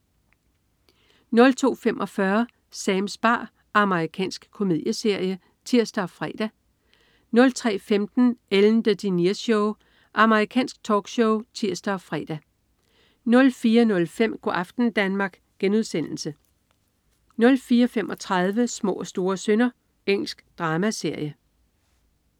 02.45 Sams bar. Amerikansk komedieserie (tirs og fre) 03.15 Ellen DeGeneres Show. Amerikansk talkshow (tirs og fre) 04.05 Go' aften Danmark* 04.35 Små og store synder. Engelsk dramaserie